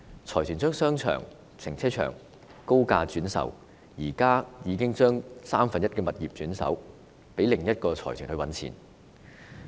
財團把商場和停車場高價轉售，現在已把三分之一物業轉手給另一個財團賺錢。